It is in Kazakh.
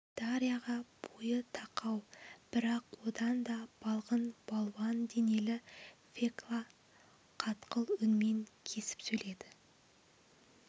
дарьяға бойы тақау бірақ одан да балғын балуан денелі фекла қатқыл үнмен кесіп сөйледі